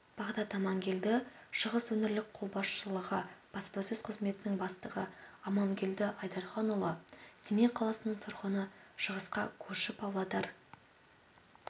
бағдат аманкелді шығыс өңірлік қолбасшылығы баспасөз қызметінің бастығы амангелді айдарханұлы семей қаласының тұрғыны шығысқа көрші павлодар